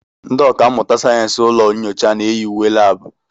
Ndị ọkà mmụta sayensị ụlọ nyocha na-eyi uwe labu.